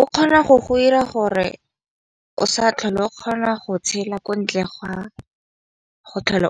O kgona go go ira gore o sa tlhole o kgona go tshela ko ntle ga go tlhola